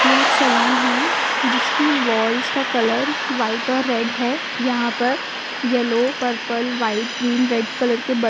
यह एक सलून है जिसकी वाल्स का कलर व्हाइट और रेड है यहां पर yellow purple white green red colour के बै --